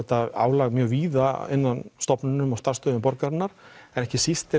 álag mjög víða inn á stofnunum og starfstöðvum borgarinnar en ekki síst